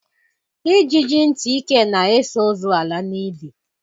Ijiji ntị ike na-eso ozu ala n'ili